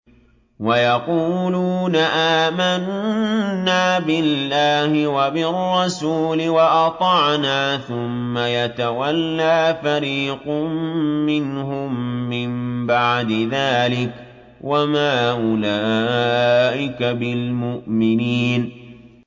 وَيَقُولُونَ آمَنَّا بِاللَّهِ وَبِالرَّسُولِ وَأَطَعْنَا ثُمَّ يَتَوَلَّىٰ فَرِيقٌ مِّنْهُم مِّن بَعْدِ ذَٰلِكَ ۚ وَمَا أُولَٰئِكَ بِالْمُؤْمِنِينَ